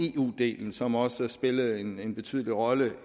eu delen som også spillede en en betydelig rolle